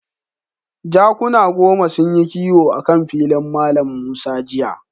Jakuna goma sunyi kiwo akan filin Mallam Musa jiya.